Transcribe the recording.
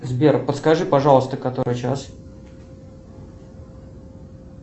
сбер подскажи пожалуйста который час